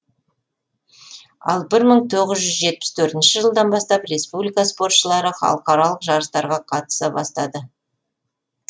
ал бір мың тоғыз жүз жетпіс төртінші жылдан бастап республика спортшылары халықаралық жарыстарға қатыса бастады